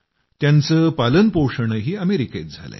त्यांचं पालनपोषणही अमेरिकेत झालंय